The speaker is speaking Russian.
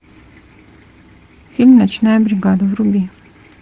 фильм ночная бригада вруби